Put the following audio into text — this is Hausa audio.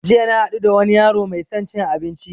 Jiya na haɗu da wani yaro mai son cin abinci